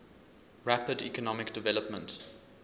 rapid economic development